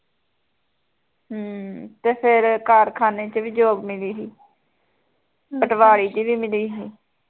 ਹਮ ਤੇ ਫੇਰ ਕਾਰਖਾਨੇ ਚ ਵੀ job ਮਿਲੀ ਸੀ ਪਟਵਾਰੀ ਦੀ ਵੀ ਮਿਲੀ ਸੀ